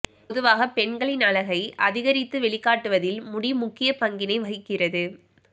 பொதுவாக பெண்களின் அழகை அதிகரித்து வெளிக்காட்டுவதில் முடி முக்கிய பங்கினை வகிக்கிறது